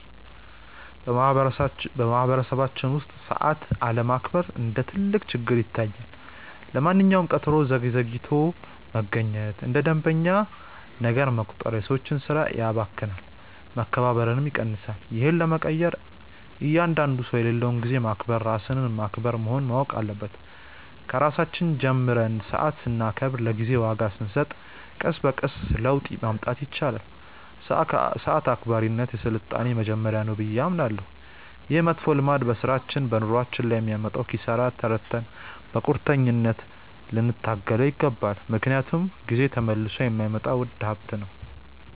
በማኅበረሰባችን ውስጥ ሰዓት አለማክበር እንደ ትልቅ ችግር ይታየኛል። ለማንኛውም ቀጠሮ ዘግይቶ መገኘት እንደ መደበኛ ነገር መቆጠሩ የሰዎችን ሥራ ያባክናል፣ መከባበርንም ይቀንሳል። ይህን ለመቀየር እያንዳንዱ ሰው የሌላውን ጊዜ ማክበር ራስን ማክበር መሆኑን ማወቅ አለበት። ከራሳችን ጀምረን ሰዓት ስናከብርና ለጊዜ ዋጋ ስንሰጥ ቀስ በቀስ ለውጥ ማምጣት ይቻላል። ሰዓት አክባሪነት የሥልጣኔ መጀመሪያ ነው ብዬ አምናለሁ። ይህ መጥፎ ልማድ በሥራችንና በኑሯችን ላይ የሚያመጣውን ኪሳራ ተረድተን በቁርጠኝነት ልንታገለው ይገባል፤ ምክንያቱም ጊዜ ተመልሶ የማይመጣ ውድ ሀብት ነው።